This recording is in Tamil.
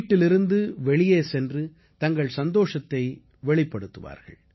வீட்டிலிருந்து வெளியே சென்று தங்கள் சந்தோஷத்தை வெளிப்படுத்துவார்கள்